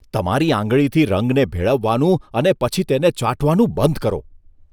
તમારી આંગળીથી રંગને ભેળવવાનું અને પછી તેને ચાટવાનું બંધ કરો.